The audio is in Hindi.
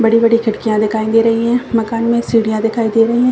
बड़ी-बड़ी खिड़कियाँ दिखाई दे रही है मकान में सीढ़िया दिखाई दे रही है।